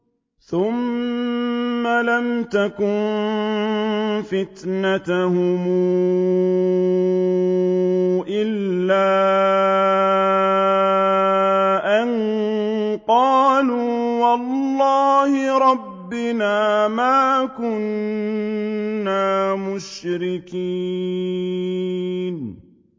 ثُمَّ لَمْ تَكُن فِتْنَتُهُمْ إِلَّا أَن قَالُوا وَاللَّهِ رَبِّنَا مَا كُنَّا مُشْرِكِينَ